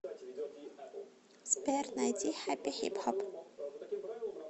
сбер найди хэппи хип хоп